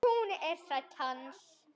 Hún er þræll hans.